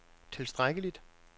tilstrækkeligt